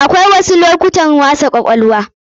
Akwai wasu lokutan wasa kwakwalwa.